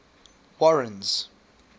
warren's